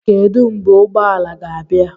Kedu mgbe ụgbọ ala ga-abịa?